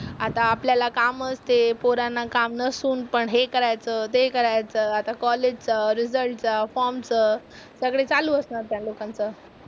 आता आपल्याला कामच हे पोरांना काम नसून पण हे करायचं, ते करायचं, आता कॉलेज चं, रिझल्ट चं, फॉर्म चं, सगळे चालू असणार त्या लोकांचं.